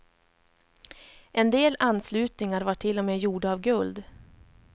En del anslutningar var till och med gjorda av guld.